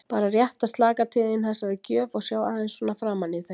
Bara rétt að slaka til þín þessari gjöf og sjá aðeins svona framan í þig.